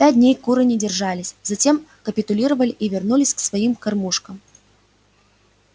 пять дней куры не держались затем капитулировали и вернулись к своим кормушкам